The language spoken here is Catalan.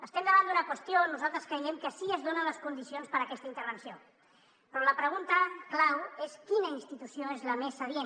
estem davant d’una qüestió on nosaltres creiem que sí que es donen les condicions per a aquesta intervenció però la pregunta clau és quina institució és la més adient